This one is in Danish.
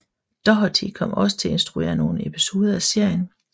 Doherty kom også til at instruere nogle episoder af serien